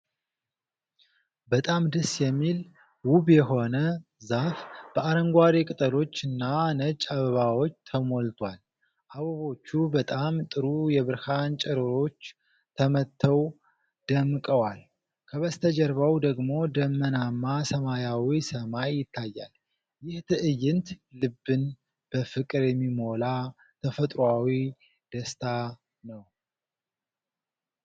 በጣም ደስ የሚል፣ ውብ የሆነ ዛፍ በአረንጓዴ ቅጠሎችና ነጭ አበባዎች ተሞልቷል። አበቦቹ በጣም ጥሩ የብርሃን ጨረሮች ተመተው ደምቀዋል። ከበስተጀርባው ደግሞ ደመናማ ሰማያዊ ሰማይ ይታያል። ይህ ትዕይንት ልብን በፍቅር የሚሞላ ተፈጥሯዊ ደስታ ነው።